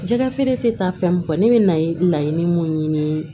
Jɛgɛfeere tɛ taa fɛn min kɔ ne bɛ laɲini mun ɲini